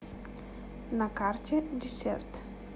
на карте десерт